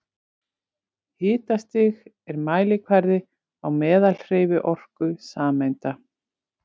Hitastig er mælikvarði á meðalhreyfiorku sameinda.